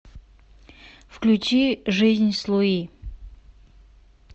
включи жизнь с луи